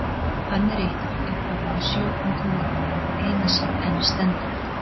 Hann er eitt af upphaflegum sjö undrum veraldar og það eina sem enn stendur.